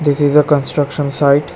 This is a construction site.